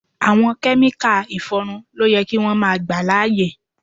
Àwọn Kẹ́míkà ìfọrun ló yẹ kí wón máa gbà láyè.